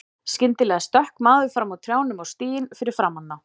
Skyndilega stökk maður fram úr trjánum á stíginn fyrir framan þá.